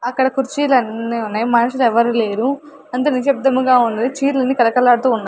అక్కడ కుర్చీలన్ని ఉన్నాయ్ మనుషులెవ్వరూలేరు అంత నిశ్శబ్దముగా ఉన్నది చీరలన్ని కళకళలాడుతూ ఉన్నాయ్.